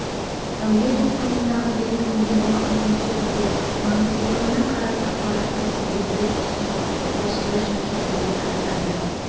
әуе толқынындағы белгіленген уақыт мөлшерінде маңыздылығына қарай ақпаратты тізбектеп ұсыну осылайша жүзеге асады